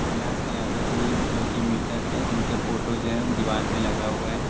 कैलाश यादव जी जोकि मृतक है उनका फ़ोटो जो है दीवाल पे लगा हुआ है।